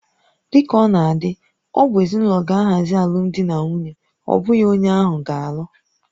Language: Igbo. Dị ka ọ na-adị, ọ bụ ezinụlọ na-ahazi alụmdi na nwunye, ọ bụghị onye ahụ ga-alụ